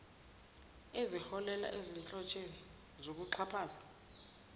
eziholela ezinhlotsheni zokuxhaphaza